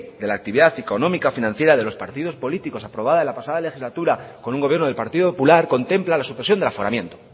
de la actividad económica financiera de los partidos políticos aprobada en la pasada legislatura con un gobierno del partido popular contempla la supresión del aforamiento